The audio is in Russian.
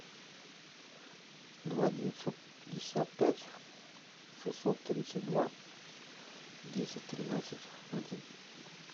два девятьсот пятьдесят пять шестьсот тридцать два десять тринадцать один